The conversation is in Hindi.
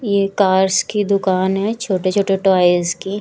यह कार्स की दुकान है छोटे छोटे टॉयज की--